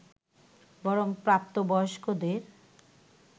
বরং প্রাপ্ত বয়স্কদের